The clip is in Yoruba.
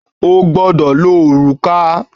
O gbọ́dọ̀ lo òrùka!